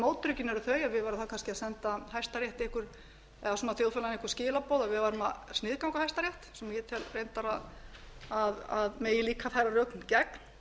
mótrökin eu þau að við værum þá kannski að senda hæstarétti eða þjóðfélaginu einhver skilaboð um að við værum að sniðganga hæstarétt sem ég tel reyndar að megi líka færa rök gegn